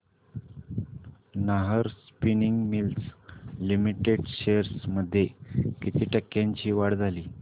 Nahar spinning mills limited shares मध्ये किती टक्क्यांची वाढ झाली